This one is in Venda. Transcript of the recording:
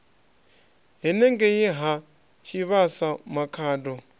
henengei ha tshivhasa makhado a